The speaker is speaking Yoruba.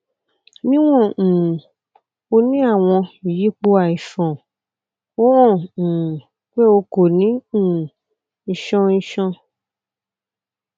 niwon um o ni awọn iyipo aiṣan o han um pe o ko ni um iṣan iṣan